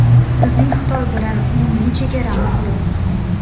Bizning Xitoy bilan umumiy chegaramiz yo‘q.